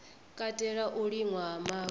katela u liṅwa ha mavu